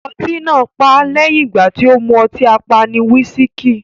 Ọtí náà pá lẹ́yìn ìgbà tì o mú ọtí apani "wisiki".